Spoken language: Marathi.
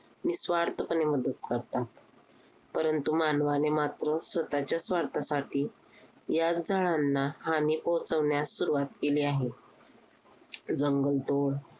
निस्वार्थपणे मदत करतात. परंतु मानवाने मात्र स्वतःच्या स्वार्थासाठी याच झाडांना हानी पोहोचवण्यास सुरुवात केली आहे. जंगलतोड